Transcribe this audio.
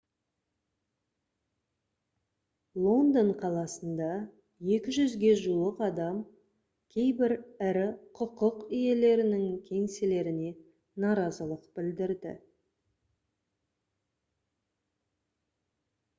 лондон қаласында 200-ге жуық адам кейбір ірі құқық иелерінің кеңселеріне наразылық білдірді